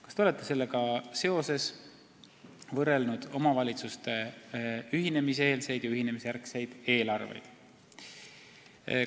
Kas olete sellega seoses võrrelnud omavalitsuste ühinemiseelseid ja ühinemisjärgseid eelarveid?